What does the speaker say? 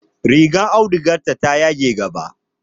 Rigar audugarta ta yage gaba.